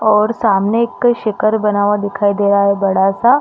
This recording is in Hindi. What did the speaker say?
और सामने एक शिखर बना हुआ दिखाई दे रहा है बड़ा-सा--